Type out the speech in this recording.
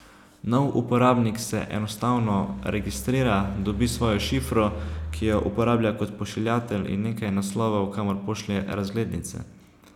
Nov uporabnik se enostavno registrira, dobi svojo šifro, ki jo uporablja kot pošiljatelj, in nekaj naslovov, kamor pošlje razglednice.